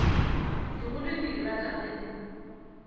dikgolo di irata ge di